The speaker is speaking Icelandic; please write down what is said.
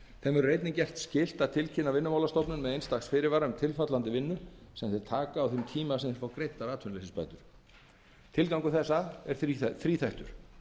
verður einnig gert skylt að tilkynna vinnumálastofnun með eins dags fyrirvara um tilfallandi vinnu sem þeir taka á þeim tíma sem þeir fá greiddar atvinnuleysisbætur tilgangur þessa er þríþættur